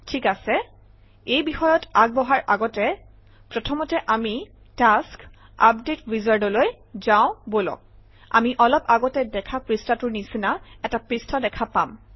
ঠিক আছে এই বিষয়ত আগবঢ়াৰ আগতে প্ৰথমতে আমি টাস্ক আপডেট wizard অলৈ যাওঁ বলক আমি অলপ আগতে দেখা পৃষ্ঠাটোৰ নিচিনা এটা পৃষ্ঠা দেখা পাম